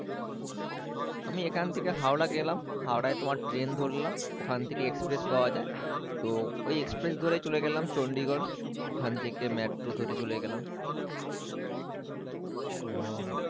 আমি এখান থেকে হাওড়া গেলাম হাওড়ায় তোমার ট্রেন ধরলাম ওখান থেকে এক্সপ্রেস পাওয়া যায় তো ওই এক্সপ্রেস ধরে চলে গেলাম চন্ডিগড় ওখান থেকে মেট্রো ধরে চলে গেলাম ও,